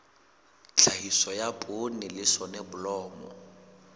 tlhahiso ya poone le soneblomo